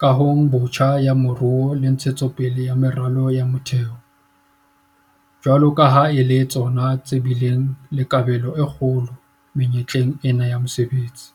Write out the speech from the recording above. kahong botjha ya moruo le ntshetso pele ya meralo ya motheo - jwalo ka ha e le tsona tse bileng le kabelo e kgolo menyetleng ena ya mesebetsi.